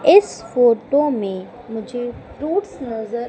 इस फोटो में मुझे फ्रूट्स नजर--